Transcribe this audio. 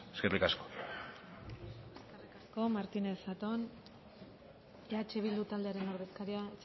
eskerrik asko eskerrik asko martínez zatón eh bildu taldearen ordezkaria